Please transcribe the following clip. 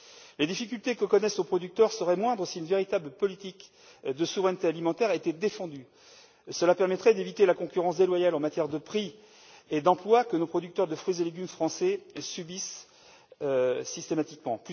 Les difficultés que connaissent nos producteurs seraient moindres si une véritable politique de souveraineté alimentaire était défendue. Cela permettrait d'éviter la concurrence déloyale en matière de prix et d'emplois que nos producteurs de fruits et légumes français subissent systématiquement.